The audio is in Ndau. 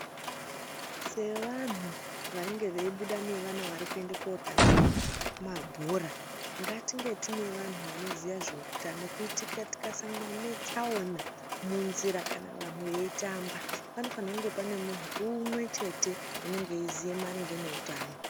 Sevantu vanenge veibuda nevana varikuende kundotambe mabhora, ngatinge tine vantu vanoziya zveutano kuitira tikasangana netsaona munzira kana vantu veitamba, panofanhwa kunge pane muntu umwechete unenge eiziya maringe neutano.